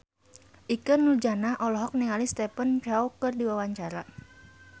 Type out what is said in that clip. Ikke Nurjanah olohok ningali Stephen Chow keur diwawancara